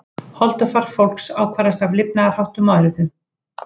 Holdafar fólks ákvarðast af lifnaðarháttum og erfðum.